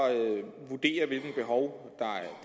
vurdere hvilke behov